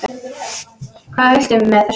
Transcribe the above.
Hvað viltu með þessu?